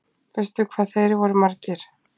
Veistu hvað þeir voru margir?